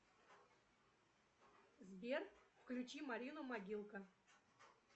сбер включи марину могилка